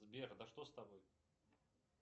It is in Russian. сбер да что с тобой